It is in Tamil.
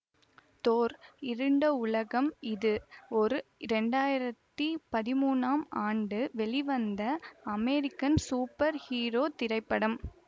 தோர் இருண்ட உலகம் இது ஒரு இரண்டாயிரத்தி பதிமூனாம் ஆண்டு வெளிவந்த அமெரிக்கன் சூப்பர் ஹீரோ திரைப்படம்